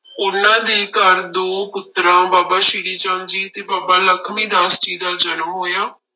ਉਹਨਾਂ ਦੇ ਘਰ ਦੋ ਪੁੱਤਰਾਂ ਬਾਬਾ ਸ੍ਰੀ ਚੰਦ ਜੀ ਤੇ ਬਾਬਾ ਲਖਮੀ ਦਾਸ ਜੀ ਦਾ ਜਨਮ ਹੋਇਆ।